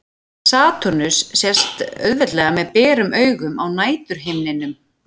Satúrnus sést auðveldlega með berum augum á næturhimninum.